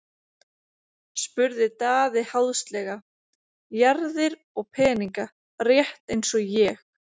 spurði Daði háðslega:-Jarðir og peninga, rétt eins og ég.